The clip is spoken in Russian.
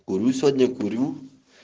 курю сегодня курю